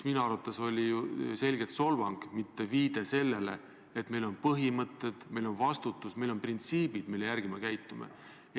Minu arvates see oli selgelt solvang, mitte viide sellele, et meil on põhimõtted, et meil on vastutus, meil on printsiibid, mille järgi me käitume.